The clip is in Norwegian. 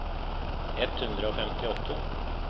ett hundre og femtiåtte